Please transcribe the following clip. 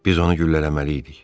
Biz onu güllələməli idik.